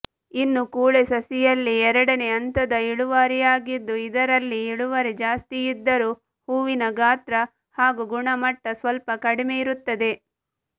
ಇನ್ನು ಕೂಳೆ ಸಸಿಯಲ್ಲಿ ಎರಡನೇ ಹಂತದ ಇಳುವರಿಯಾಗಿದ್ದು ಇದರಲ್ಲಿ ಇಳುವರಿ ಜಾಸ್ತಿಯಿದ್ದರೂ ಹೂವಿನ ಗಾತ್ರ ಹಾಗೂ ಗುಣಮಟ್ಟ ಸ್ವಲ್ಪ ಕಡಿಮೆಯಿರುತ್ತದೆ